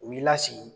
U b'i lasigi